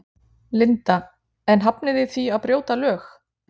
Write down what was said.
Linda: En þið hafnið því að brjóta lög?